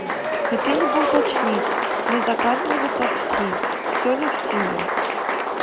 хотели бы уточнить мы заказывали такси все ли в силе